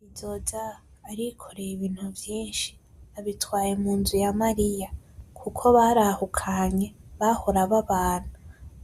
Bizoza arikoreye ibintu vyinshi abitwaye munzu ya Mariya kuko barahukanye bahora babana